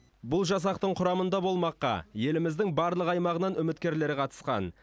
бұл жасақтың құрамында болмаққа еліміздің барлық аймағынан үміткерлер қатысқан